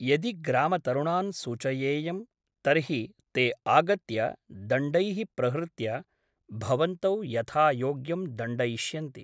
यदि ग्रामतरुणान् सूचयेयं तर्हि ते आगत्य दण्डैः प्रहृत्य भवन्तौ यथायोग्यं दण्डयिष्यन्ति ।